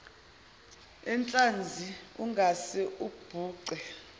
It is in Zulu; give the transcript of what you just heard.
enhlanzi ungase ubhuce